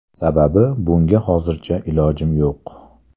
Sababi, bunga hozircha ilojim yo‘q.